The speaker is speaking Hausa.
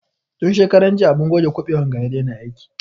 Tun shekaran jiya abun goge kuɓewan ga ya daina aiki